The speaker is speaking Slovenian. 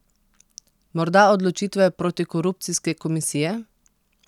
Morda odločitve protikorupcijske komisije?